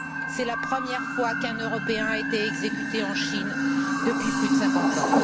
C'est la première fois qu'un Européen est exécuté en Chine depuis plus de cinquante ans.